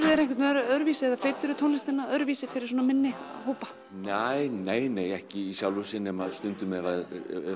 þér einhvern veginn öðruvísi eða tónlistina öðruvísi fyrir svona minni hópa ekki í sjálfu sér nema stundum ef